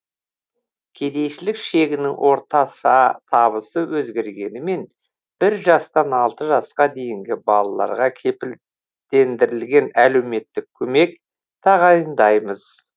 кедейшілік шегінің орташа табысы өзгергенімен бір жастан алты жасқа дейінгі балаларға кепілдендірілген әлеуметтік көмек тағайындаймыз